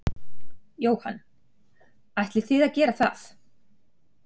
Jóhann: Ætlið þið að gera það?